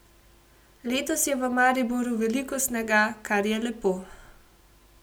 Letos je v Mariboru veliko snega, kar je lepo.